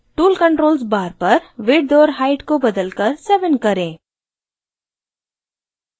tool controls bar पर width और height को बदलकर 7 करें